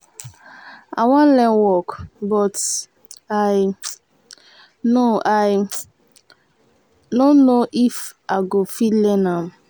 i wan learn work but i um no i um no know if i go fit learn am